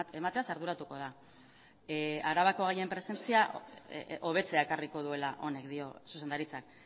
emateaz arduratuko da arabako gaien presentzia hobetzea ekarriko duela honek dio zuzendaritzak